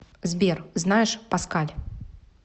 сбер знаешь паскаль